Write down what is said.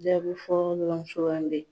Jaabi fɔlɔ sugandi.